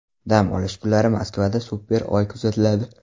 Dam olish kunlari Moskvada super Oy kuzatiladi.